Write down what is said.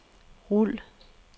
rul